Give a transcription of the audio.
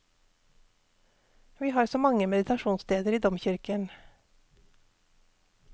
Vi har så mange meditasjonssteder i domkirken.